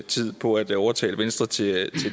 tid på at overtale venstre til